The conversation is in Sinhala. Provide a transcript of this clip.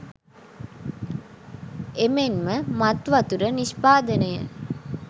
එමෙන්ම මත් වතුර නිෂ්පාදනය,